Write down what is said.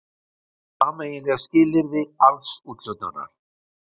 Sameiginleg skilyrði arðsúthlutunar.